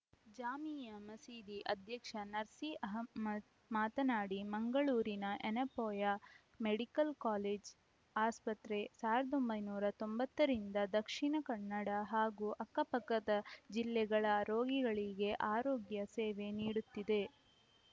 ಜಾಮೀಯಾ ಮಸೀದಿ ಅಧ್ಯಕ್ಷ ನಸೀರ್‌ ಅಹಮ್ಮದ್‌ ಮಾತನಾಡಿ ಮಂಗಳೂರಿನ ಯೆನೆಪೋಯ ಮೆಡಿಕಲ್‌ ಕಾಲೇಜು ಆಸ್ಪತ್ರೆ ಸಾವಿರದ ಒಂಬೈನೂರ ತೊಂಬತ್ತ ರಿಂದ ದಕ್ಷಿಣಕನ್ನಡ ಹಾಗೂ ಅಕ್ಕಪಕ್ಕದ ಜಿಲ್ಲೆಗಳ ರೋಗಿಗಳಿಗೆ ಆರೋಗ್ಯ ಸೇವೆ ನೀಡುತ್ತಿದೆ